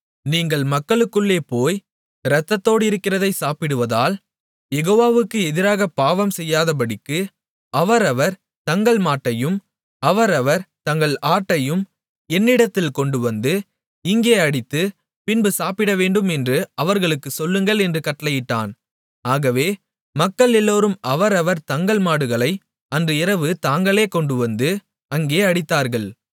நீங்கள் மக்களுக்குள்ளே போய் இரத்தத்தோடிருக்கிறதைச் சாப்பிடுவதால் யெகோவாவுக்கு எதிராக பாவம் செய்யாதபடிக்கு அவரவர் தங்கள் மாட்டையும் அவரவர் தங்கள் ஆட்டையும் என்னிடத்தில் கொண்டுவந்து இங்கே அடித்து பின்பு சாப்பிடவேண்டும் என்று அவர்களுக்குச் சொல்லுங்கள் என்று கட்டளையிட்டான் ஆகவே மக்கள் எல்லோரும் அவரவர் தங்கள் மாடுகளை அன்று இரவு தாங்களே கொண்டுவந்து அங்கே அடித்தார்கள்